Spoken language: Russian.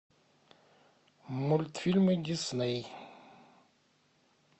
мультфильмы дисней